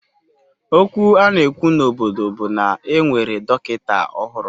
Okwu a na-ekwu n'obodo bụ na e nwere dọkịta ọhụrụ